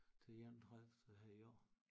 Til den enogtredivte her i år